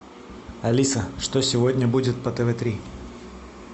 алиса что сегодня будет по тв три